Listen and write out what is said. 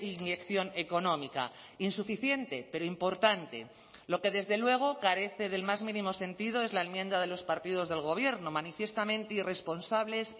inyección económica insuficiente pero importante lo que desde luego carece del más mínimo sentido es la enmienda de los partidos del gobierno manifiestamente irresponsables